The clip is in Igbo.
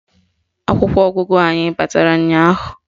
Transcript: Akwụkwọ ọgụgụ anyị batara ụnyaahụ